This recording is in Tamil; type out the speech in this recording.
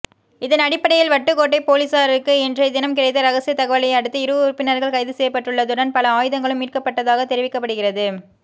இதனடிப்படையில் வட்டுக்கோட்டை பொலிஸாருக்கு இன்றையதினம் கிடைத்த இரகசிய தகவலை அடுத்து இரு உறுப்பினர்கள் கைதுசெய்யப்பட்டுள்ளதுடன் பல ஆயுதங்களும் மீட்கப்பட்டதாக தெரிவிக்கப்படுகின்றது